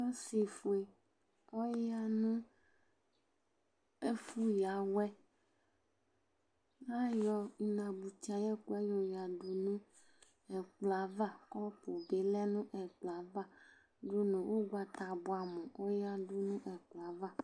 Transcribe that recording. Ɔsɩfue ɔya nʋ ɛfʋ ƴǝ awɛL' aƴɔ inabuti aƴʋ ɛƙʋ ƴɛ ƴɔ ƴǝ ɖu nʋ ɛƙplɔ ava, ɔƙʋ bɩ lɛ nʋ ɛƙplɔ ava ɖʋ nʋ ʋgbata bʋɛ amʋ oƴǝɖu nʋ ɛƙplɔ ƴɛ ava